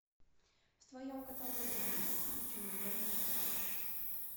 в твоем каталоге есть скрюченный домишко